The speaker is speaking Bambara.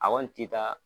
A kɔni ti taa